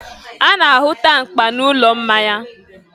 a na-ahụta mkpa n'ụlọ mmanya.